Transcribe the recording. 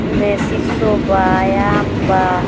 ए में सिसो बा याम बा --